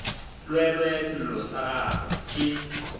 llelwe sello sa gagwe ke